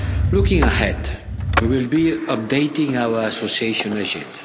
Looking ahead, we will be updating our association agenda.